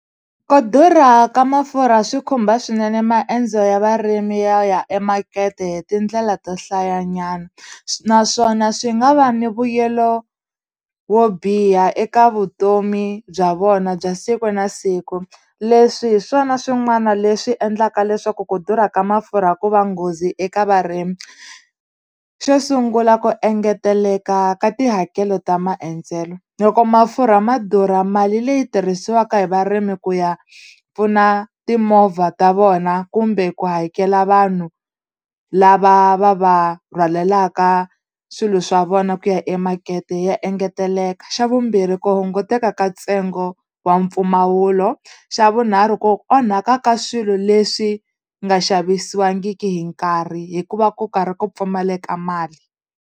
Ku durha ka mafurha swi khumba swinene maendzo ya varimi yo ya emakete hi tindlela to hlayanyana naswona swi nga va ni vuyelo wo biha eka vutomi bya vona bya siku na siku leswi hi swona swin'wana leswi endlaka leswaku ku durha ka mafurha ku va nghozi eka varimi xo sungula ku engeteleka ka tihakelo ta maendzelo loko mafurha ma durha mali leyi tirhisiwaka hi varimi ku ya pfuna timovha ta vona kumbe ku hakela vanhu lava va va rhwalelaka swilo swa vona ku ya emakete ya engeteleka xa vumbirhi ku hunguteka ka ntsengo wa mpfumawulo xa vunharhu ku onhaka ka swilo leswi nga xavisiwangiki hi nkarhi hikuva ku karhi ku pfumaleka mali.